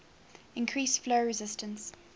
increase flow resistance